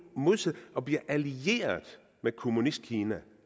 modsat og bliver allierede med kommunistkina